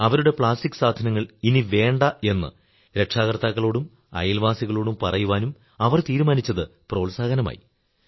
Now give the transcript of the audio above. അവരുടെ പ്ലാസ്റ്റിക് സാധനങ്ങൾ ഇനി വേണ്ട എന്ന് രക്ഷാകർത്താക്കളോടും അയൽവാസികളോടും പറയുവാനും അവർ തീരുമാനിച്ചത് പ്രോത്സാഹനമായി